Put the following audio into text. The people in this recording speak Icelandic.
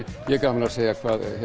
ég hef gaman að segja